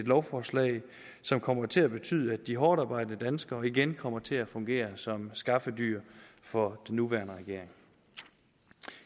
lovforslag som kommer til at betyde at de hårdtarbejdende danskere igen kommer til at fungere som skaffedyr for den nuværende regering